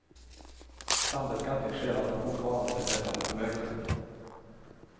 Sambeskattning sker alltså fortfarande beträffande förmögenhet.